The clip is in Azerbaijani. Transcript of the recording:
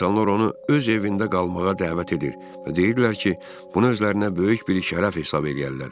İnsanlar onu öz evində qalmağa dəvət edir və deyirdilər ki, bunu özlərinə böyük bir şərəf hesab eləyərlər.